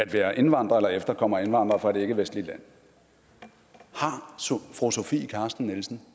være indvandrer eller efterkommer af indvandrere fra et ikkevestligt land har fru sofie carsten nielsen